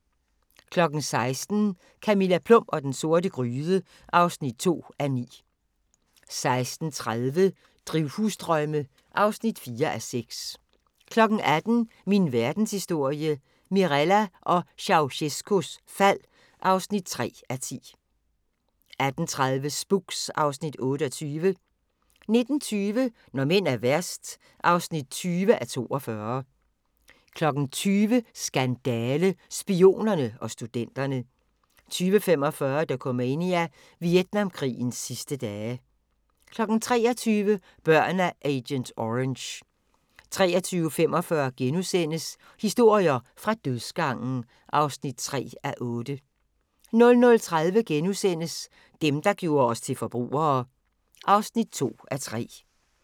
16:00: Camilla Plum og den sorte gryde (2:9) 16:30: Drivhusdrømme (4:6) 18:00: Min Verdenshistorie – Mirella og Ceaucescaus fald (3:10) 18:30: Spooks (Afs. 28) 19:20: Når mænd er værst (20:42) 20:00: Skandale - Spionerne og studenterne 20:45: Dokumania: Vietnamkrigens sidste dage 23:00: Børn af agent orange 23:45: Historier fra dødsgangen (3:8)* 00:30: Dem, der gjorde os til forbrugere (2:3)*